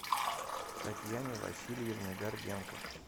татьяне васильевне горбенко